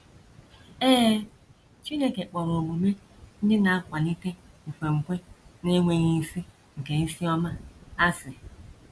Ee, Chineke kpọrọ omume ndị na - akwalite nkwenkwe na - enweghị isi nke isi ọma, asị.